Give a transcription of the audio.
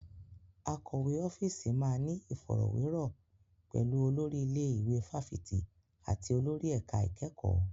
Akọ̀wé ọ́fíìsì máa ní ìfọ̀rọ̀wérọ̀ pẹ̀lú olórí ilé ìwé fáfitì àti olórí ẹ̀ka ìkẹ́kọ̀ọ́.